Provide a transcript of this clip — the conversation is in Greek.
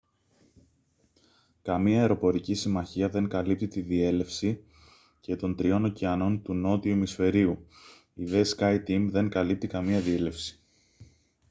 καμία αεροπορική συμμαχία δεν καλύπτει τη διέλευση και των τριών ωκεανών του νότιου ημισφαιρίου η δε skyteam δεν καλύπτει καμία διέλευση